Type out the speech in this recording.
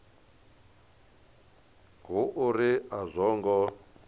hu uri a zwo ngo